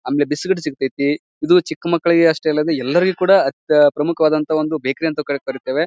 ಆಮೇಲೆ ಬಿಸ್ಕೆಟ್ಸ್ ಸಿಗತೈತಿ ಇದು ಚಿಕ್ಕ್ ಮಕ್ಕಳಿಗೆ ಅಷ್ಟೇ ಅಲ್ಲದೆ ಎಲ್ಲರಿಗು ಕೂಡ ಅತ್ ಪ್ರಮುಖವಾದಂತಹ ಒಂದು ಬೇಕರಿ ಅಂತ ಕೂಡ ಕರೀತೇವೆ.